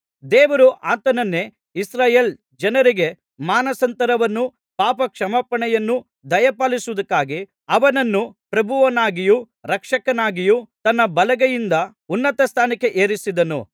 ದೇವರು ಆತನನ್ನೇ ಇಸ್ರಾಯೇಲ್ ಜನರಿಗೆ ಮಾನಸಾಂತರವನ್ನೂ ಪಾಪಕ್ಷಮಾಪಣೆಯನ್ನೂ ದಯಪಾಲಿಸುವುದಕ್ಕಾಗಿ ಅವನನ್ನು ಪ್ರಭುವನ್ನಾಗಿಯೂ ರಕ್ಷಕನಾಗಿಯೂ ತನ್ನ ಬಲಗೈಯಿಂದ ಉನ್ನತಸ್ಥಾನಕ್ಕೆ ಏರಿಸಿದನು